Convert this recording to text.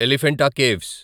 Elephanta caves